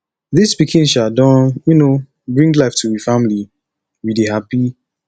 dis pikin um don um bring life to we family we dey hapi